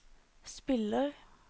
spiller